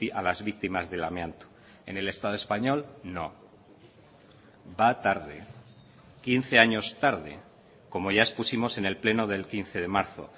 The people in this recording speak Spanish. a las víctimas del amianto en el estado español no va tarde quince años tarde como ya expusimos en el pleno del quince de marzo